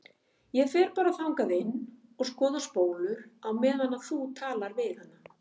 Ég fer bara þangað inn og skoða spólur á meðan þú talar við hana.